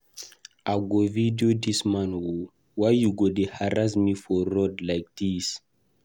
I go video dis man oo, why you go dey harass me for road like dis.